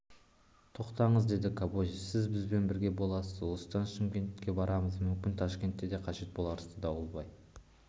тоқтаңыз деді кобозев сіз бізбен бірге боласыз осыдан шымкент барамыз мүмкін ташкентке де қажет боларсыз дауылбай